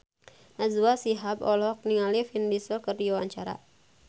Najwa Shihab olohok ningali Vin Diesel keur diwawancara